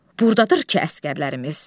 Burdadır ki əsgərlərimiz.